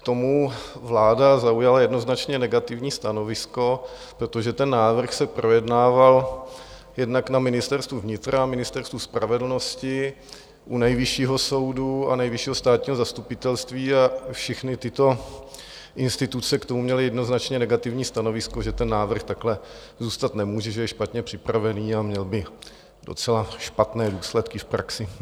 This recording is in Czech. K tomu vláda zaujala jednoznačně negativní stanovisko, protože ten návrh se projednával jednak na Ministerstvu vnitra a Ministerstvu spravedlnosti, u Nejvyššího soudu a Nejvyššího státního zastupitelství, a všechny tyto instituce k tomu měly jednoznačně negativní stanovisko, že ten návrh takhle zůstat nemůže, že je špatně připravený a měl by docela špatné důsledky v praxi.